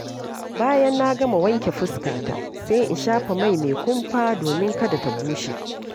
Bayan na gama wanke fuskata, sai in shafa mai mai kumfa domin kada ta bushe.